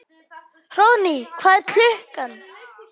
Hróðný, hvað er klukkan?